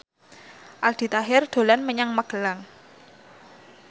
Aldi Taher dolan menyang Magelang